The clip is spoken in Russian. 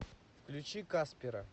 включи каспера